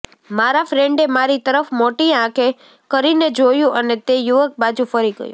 મારા ફ્રેન્ડે મારી તરફ મોટી આંખો કરીને જોયું અને તે યુવક બાજુ ફરી ગયો